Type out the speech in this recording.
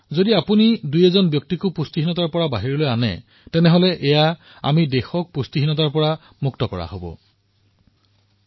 যদি আপুনি এজন ব্যক্তিকো কুপোষণৰ পৰা বাহিৰলৈ উলিয়াই আনিবলৈ সক্ষম হয় তেন্তে ইয়াৰ অৰ্থ হল আমি দেশক কুপোষণ মুক্ত কৰিব পাৰিম